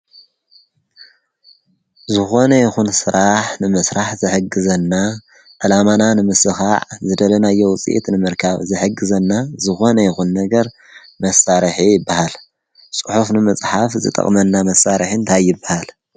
ዝኾነ ይኹን ሥራሕ ንመሥራሕ ዘሕግዘና ዕላማና ንምስኻዕ ዝደለናዮ ውፂአት ንምርካብ ዘሕግዘና ዝኾነ ይኹን ነገር መሳርሐ ይበሃል ጽሑፍ ንምጽሓፍ ዝጠቕመና መሣርሕእንታይብሃለ